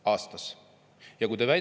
Aastas!